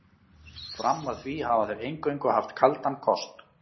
Fram að því hafa þeir eingöngu haft kaldan kost.